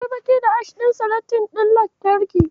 Akwai baƙi da Ash ɗin seletip ɗin lantarki.